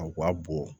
U ka bɔ